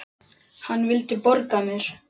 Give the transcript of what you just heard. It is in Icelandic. Hann vildi borga mér!